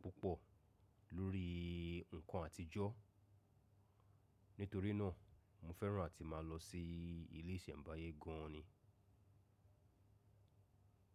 púpọ̀ lórí ǹkan àtijọ́. Nítorí náà, mo fẹ́ràn àti máa lọ sí ilé ìsẹ̀mbáyé gan an ni.